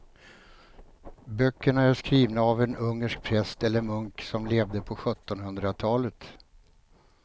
Böckerna är skrivna av en ungersk präst eller munk som levde på sjuttonhundratalet.